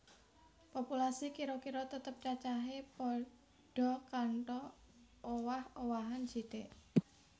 Populasi kira kira tetep cacahé padha kantho owah owahan sithik